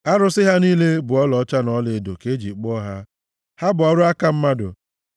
Arụsị ha niile bụ ọlaọcha na ọlaedo ka e ji kpụọ ha, ha bụ ọrụ aka mmadụ.